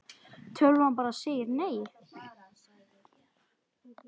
Tölvan bara segir nei.